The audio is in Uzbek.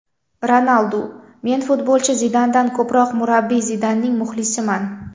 Ronaldu: Men futbolchi Zidandan ko‘proq murabbiy Zidanning muxlisiman.